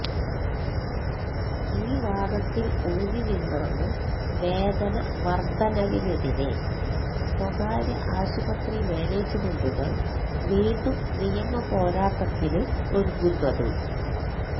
ഈ വാദത്തിൽ ഊന്നി നിന്നാണ് വേതന വർദ്ധനവിനെതിരെ സ്വകാര്യ ആശുപത്രി മാനേജ്മെന്റുകൾ വീണ്ടും നിയമപോരാട്ടത്തിന് ഒരുങ്ങുന്നത്